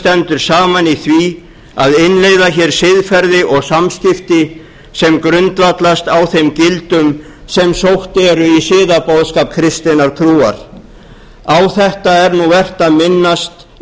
stendur saman í því að innleiða hér siðferði og samskipti sem grundvallast á þeim gildum sem sótt eru í siðaboðskap kristinnar trúar á þetta er nú vert að minnast í